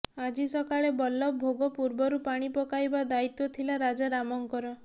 ଆଜି ସକାଳେ ବଲ୍ଲଭ ଭୋଗ ପୂର୍ବରୁ ପାଣି ପକାଇବା ଦାୟିତ୍ବ ଥିଲା ରାଜା ରାମଙ୍କର